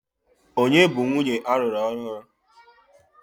Ònye bụ nwunye alụru ọhụrụ?